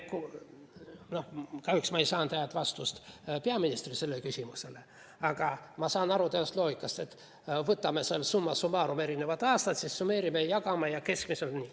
Kahjuks ei saanud ma peaministrilt head vastust sellele küsimusele, aga ma saan aru loogikast, et võtame summa summarum erinevad aastad, siis summeerime ja jagame ja keskmiselt on nii.